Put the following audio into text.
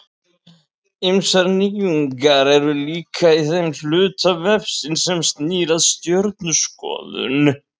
Ýmsar nýjungar eru líka í þeim hluta vefsins sem snýr að stjörnuskoðun.